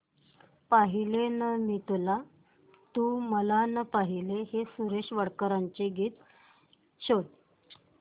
पाहिले ना मी तुला तू मला ना पाहिले हे सुरेश वाडकर यांचे गीत शोध